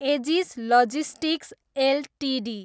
edges logistics Ltd